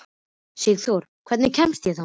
Sigþóra, hvernig kemst ég þangað?